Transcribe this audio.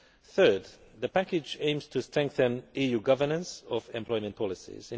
Third, the package aims to strengthen EU governance of employment policies.